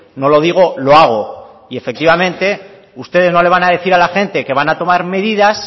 no lo digo lo hago y efectivamente ustedes no le van a decir a la gente que van a tomar medidas